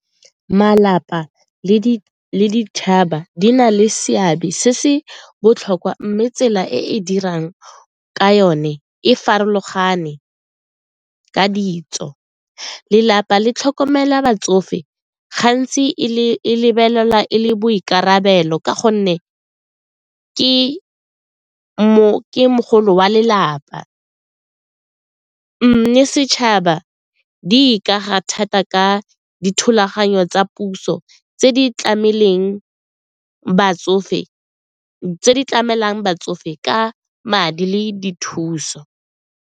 Malapa le ditšhaba di na le seabe se se botlhokwa mme tsela e e dirang ka yone e farologane ka ditso. Lelapa le tlhokomela batsofe gantsi e lebelela e le boikarabelo ka gonne ke mogolo wa lelapa mme setšhaba di ikaga thata ka dithulaganyo tsa puso tse di tlamelwang batsofe ka madi le dithuso.